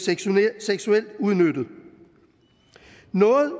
seksuelt udnyttet